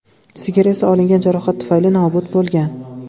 Sigir esa olingan jarohat tufayli nobud bo‘lgan.